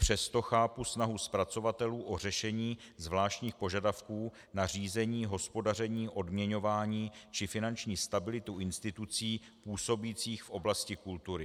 Přesto chápu snahu zpracovatelů o řešení zvláštních požadavků na řízení, hospodaření, odměňování či finanční stabilitu institucí působících v oblasti kultury.